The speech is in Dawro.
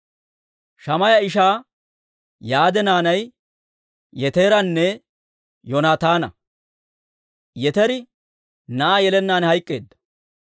Shammaaya ishaa Yaade naanay Yeteranne Yoonataana; Yeteri na'aa yelennaan hayk'k'eedda.